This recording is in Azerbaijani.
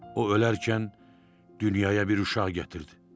O öləkən dünyaya bir uşaq gətirdi.